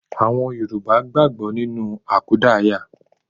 Àwọn Yorùbá gbàgbó nínú àkúdáàyá